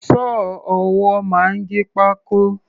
Sọ́ọ̀ ọwọ́ máa ń gé pákó.